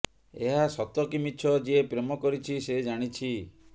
ଏହା ସତ କି ମିଛ ଯିଏ ପ୍ରେମ କରିଛି ସେ ଜାଣିଛି